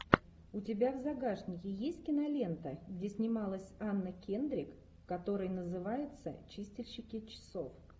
у тебя в загашнике есть кинолента где снималась анна кендрик которая называется чистильщики часов